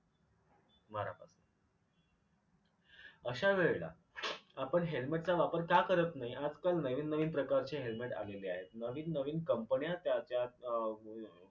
अश्या वेळेला आपण helmet चा वापर का करत नाही. आजकाल नवीन नवीन प्रकारचे helmet आलेले आहेत. नवीन नवीन कंपन्या त्या त्या अ